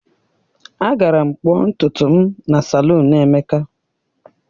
Agara m kpụọ ntutu m na salụnu Emeka.